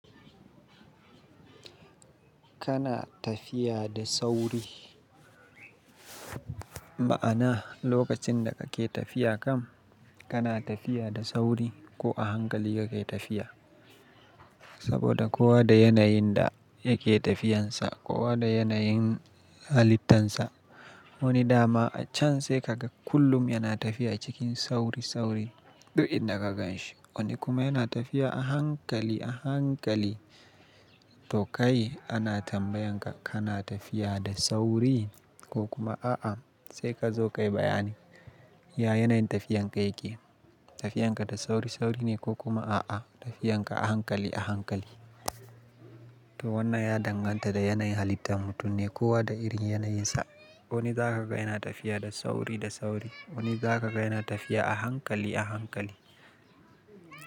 Kana tafiya da sauri. Ma'ana lokacin da kake tafiya kam kana tafiya da sauri ko a hankali kake tafiya. Sabida kowa da yanayin da yake tafiyansa, kowa da yanayin halittansa. Wani dama a can sai kaga kullum yana tafiya cikin sauri sauri duk inda ka ganshi. Wani kuma yana tafiya a hankali a hankali. To kai ana tambayan ka kana tafiya da sauri ko kuma a'a? Sai ka zo ka yi bayani, ya yanayin tafiyanka yake. Tafiyanka da sauri sauri ne ko kuma a'a tafiyanka a hankali a hankali. To wannan ya danganta da yanayin halittar mutum ne, kowa da irin yanayinsa. Wani zaka ga yana tafiya da sauri da sauri, wani zaka ga yana tafiya a hankali a hankali.